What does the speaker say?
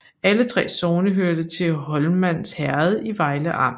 Alle 3 sogne hørte til Holmans Herred i Vejle Amt